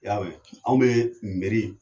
I y'a mɛn anw bɛ miiri